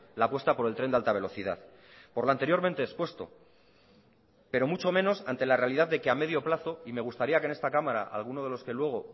la apuesta por el tren de alta velocidad por lo anteriormente expuesto pero mucho menos ante la realidad de que a medio plazo y me gustaría que en esta cámara alguno de los que luego